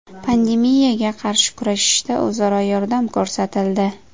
Pandemiyaga qarshi kurashishda o‘zaro yordam ko‘rsatildi.